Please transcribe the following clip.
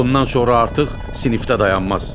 Ondan sonra artıq sinifdə dayanmaz.